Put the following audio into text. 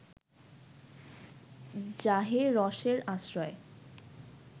যাহে রসের আশ্রয়